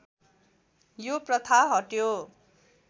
यो प्रथा हट्यो